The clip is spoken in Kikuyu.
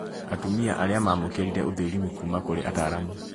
Atumia arĩa maamũkĩrire ũthũrimi kuuma kũrĩ ataaramu